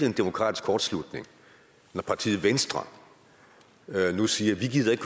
en demokratisk kortslutning når partiet venstre nu siger vi gider ikke